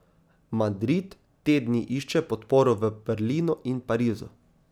Madrid te dni išče podporo v Berlinu in Parizu.